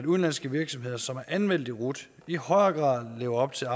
udenlandske virksomheder som er anmeldt i rut i højere grad lever op til